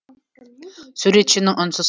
суретшінің үнсіз